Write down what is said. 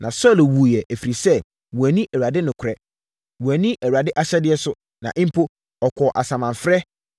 Na Saulo wuiɛ, ɛfiri sɛ, wanni Awurade nokorɛ. Wanni Awurade ahyɛdeɛ so, na mpo, ɔkɔɔ asamanfrɛ,